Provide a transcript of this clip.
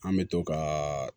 An bɛ to ka